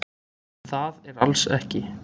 Um það er alls ekki